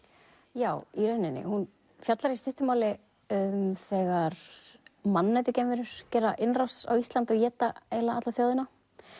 já í rauninni hún fjallar í stuttu máli um þegar mannætugeimverur gera innrás á Íslandi og éta eiginlega alla þjóðina